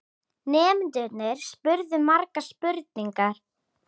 Nemendurnir spurðu margra spurninga.